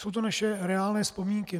Jsou to naše reálné vzpomínky.